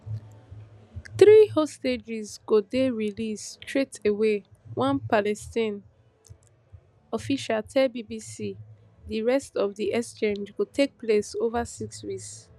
three hostages go dey released straight away one palestinian official tell bbc di rest of di exchange go take place ova six weeks